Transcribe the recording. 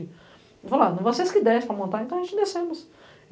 Ele falou, ah, vocês desce para montar, então a gente descemos.